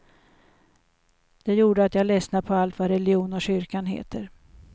Detta gjorde att jag lessnade på allt vad religion och kyrka heter.